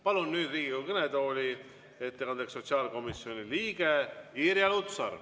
Palun ettekandeks Riigikogu kõnetooli sotsiaalkomisjoni liikme Irja Lutsari.